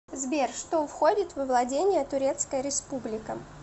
сбер что входит во владения турецкая республика